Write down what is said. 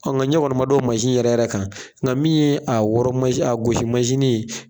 nka ɲɛ kɔni ma da o yɛrɛ yɛrɛ kan nka min ye a wɔɔrɔ a gosi ye